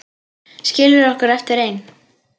Skilur okkur eftir ein.